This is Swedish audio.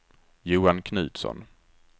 Johan Knutsson